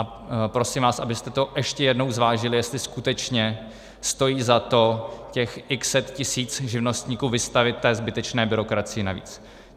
A prosím vás, abyste to ještě jednou zvážili, jestli skutečně stojí za to těch x set tisíc živnostníků vystavit té zbytečné byrokracii navíc.